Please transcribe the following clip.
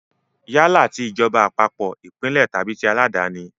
Yálà ti ìjọba àpapọ̀, ìpínlẹ̀ tàbí tí aláàdáni.